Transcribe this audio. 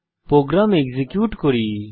programme execute করি